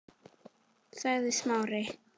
sagði Smári.